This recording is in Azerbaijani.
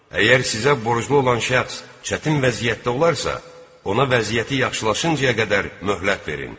Əgər sizə borclu olan şəxs çətin vəziyyətdə olarsa, ona vəziyyəti yaxşılaşıncaya qədər möhlət verin.